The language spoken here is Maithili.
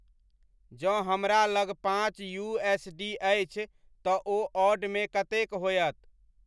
जँ हमरा लग पाँच यू.एस.डी.अछि त ओ ऑड मे कतेक होयत